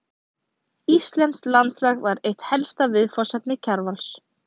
Íslenskt landslag var eitt helsta viðfangsefni Kjarvals.